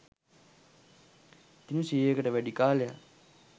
දින සියයකට වැඩි කාලයක්